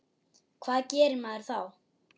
Hvað gerir maður þá?